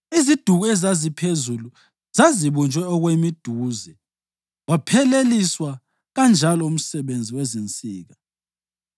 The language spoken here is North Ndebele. Iziduku ezaziphezulu zazibunjwe okwemiduze. Wapheleliswa kanjalo umsebenzi wezinsika.